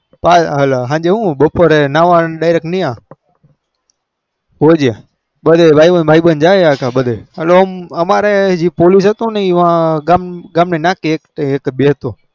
પસી હાલ હું સાંજે બપોરે નાવન હોજે ભાઈ બંધ બહિ બંધ જતા અખા બધે